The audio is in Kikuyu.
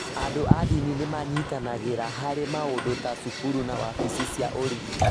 Andũ a ndini nĩ manyitanagĩra harĩ maũndũ ta cukuru na wabici cia ũrigitani.